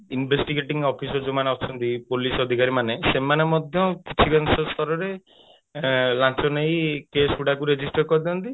investigating officer ଯୋଉ ମାନେ ଅଛନ୍ତି ପୁଲିସ ଅଧିକାରୀ ମାନେ ସେମାନେ ମଧ୍ୟ କିଛି ସ୍ତରରେ ଲାଞ୍ଚ ନେଇ case ଗୁଡାକୁ register କରି ଦିଅନ୍ତି